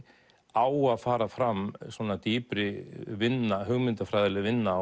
á að fara fram svona dýpri vinna hugmyndafræðileg vinna